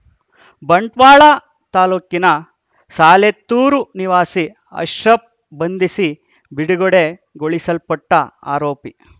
ಬಂಟ್ವಾಳ ತಾಲೂಕಿನ ಸಾಲೆತ್ತೂರು ನಿವಾಸಿ ಅಶ್ರಫ್‌ ಬಂಧಿಸಿ ಬಿಡುಗಡೆಗೊಳಿಸ್ಪಟ್ಟಆರೋಪಿ